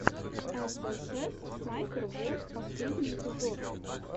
эс эс эс снайпер волф последний эпизод